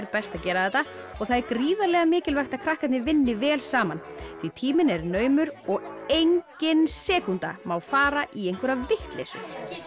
best að gera þetta það er gríðarlega mikilvægt að krakkarnir vinni vel saman því tíminn er naumur og engin sekúnda má fara í einhverja vitleysu